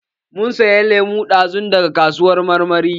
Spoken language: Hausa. Mun saya lemu dazun daga kasuwar kayan marmari.